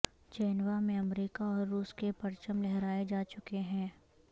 Geneva میں امریکہ اور روس کے پرچم لہرائے جا چکے ہیں